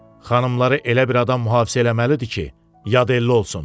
Xanımları elə bir adam mühafizə eləməlidir ki, yad elli olsun.